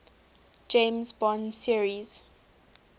james bond series